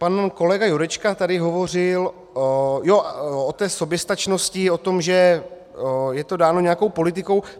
Pan kolega Jurečka tady hovořil o té soběstačnosti, o tom, že je to dáno nějakou politikou.